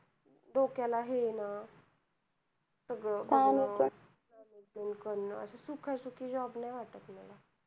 डोक्याला हे आहे ना, सगळं सगळं loan सुखासुखी job नाय वाटत मला.